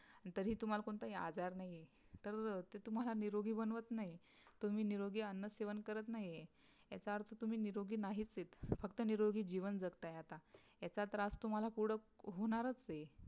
तरी तुम्हला कोणताही आजार नाहीय तरी ते तुम्हाला निरोगी बनवत नाही तुम्ही निरोगी अन्न सेवन करत नाही याचा अर्थ तुम्ही निरोगी नाहीच आहेत फ़क्त निरोगी जीवन जगाता आहे आता याचा त्रास तुम्हला पुढे होणारच आहे